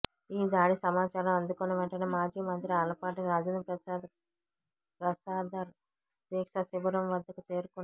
ఈ దాడి సమాచారం అందుకున్న వెంటనే మాజీ మంత్రి ఆలపాటి రాజేంద్రప్రసాదర్ దీక్షా శిబిరం వద్దకు చేరుకున్నారు